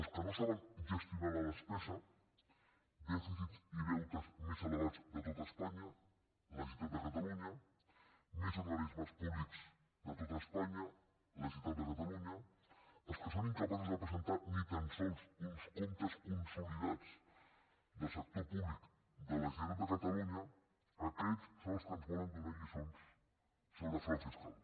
els que no saben ges·tionar la despesa dèficit i deutes més elevats de tot espanya la generalitat de catalunya més organismes públics de tot espanya la generalitat de catalunya els que són incapaços de presentar ni tan sols uns comptes consolidats del sector públic de la generalitat de catalunya aquests són els que ens volen donar lli·çons sobre frau fiscal